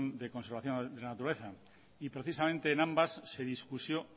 de conservación de la naturaleza precisamente en ambas